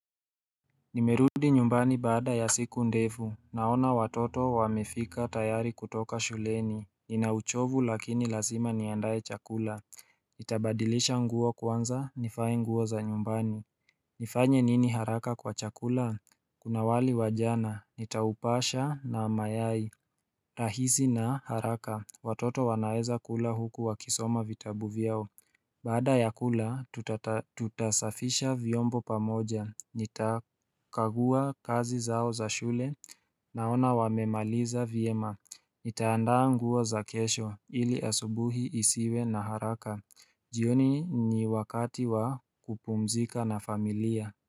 Nimerudi nyumbani baada ya siku ndefu, naona watoto wamefika tayari kutoka shuleni, ninauchovu lakini lazima niandae chakula Nitabadilisha nguo kwanza, nivae nguo za nyumbani nifanye nini haraka kwa chakula? Kuna wali wa jana, nitaupasha na mayai rahisi na haraka, watoto wanaweza kula huku wakisoma vitabu vyao Baada ya kula tutasafisha vyombo pamoja, nitakagua kazi zao za shule, naona wamemaliza vyema, nitaandaa nguo za kesho ili asubuhi isiwe na haraka, jioni ni wakati wa kupumzika na familia.